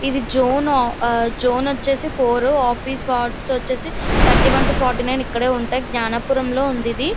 ఇది zone zone వచ్చేసి four office వచ్చేసి thirty one two forty nine Gnanapuram లో ఉంది ఇది .